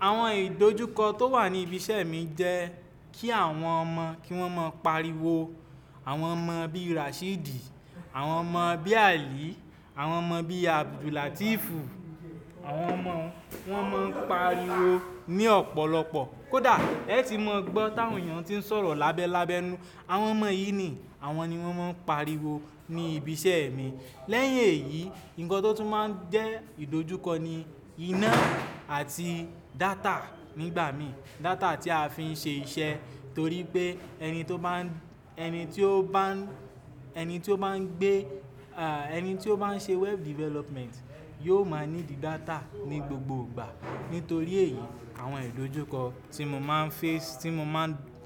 Àwọn ìdojúkọ tó wà ní ibi iṣẹ́ mi jẹ́ kí àwọn ọmọ kí wọ́n máa pariwo. Àwọn ọmọ bí Rasheed, àwọn ọmọ bí Ali, àwọn ọmọ bí Abdul Latifu, àwọn ọmọ wọn máa ń pariwo ní ọ̀pọ̀lọpọ̀. Kódà ẹ ti mọ gbọ́ táwọn èèyàn tí ń sọ̀rọ̀ lábẹ́lábẹ́ nu. Àwọn ọmọ yìí ni àwọn ni wọ́n máa ń pariwo ní ibi iṣẹ́ mi. Lẹ́yìn èyí, ǹkan tó tún máa ń jẹ́ ìdojúkọ ni iná àti data nígbà mí. Data tí a fi ń ṣe iṣẹ́ torí pé ẹni tí ó bá ń, ẹni tí ó bá ń, ẹni tí ó bá ń gbé, ẹni tí ó bá ń ṣe web development yóò máa ní di data ní gbogbo ìgbà. Nítorí èyí àwọn ìdojúkọ tí mo máa ń face,